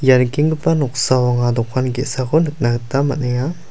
ia nikenggipa noksao anga dokan ge·sako nikna gita man·enga.